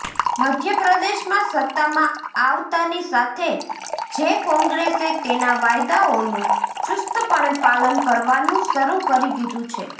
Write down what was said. મધ્યપ્રદેશમાં સત્તામાં આવતાની સાથે જે કોંગ્રેસે તેના વાયદાઓનું ચુસ્તપણે પાલન કરવાનું શરૂ કરી દીધું છે